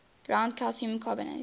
ground calcium carbonate